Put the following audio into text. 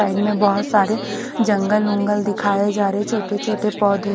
side में बहत सारे जंगल बुंगल दिखाए जा रहे है छोटे छोटे पौधे --